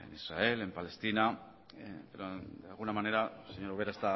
en israel en palestina de alguna manera señora ubera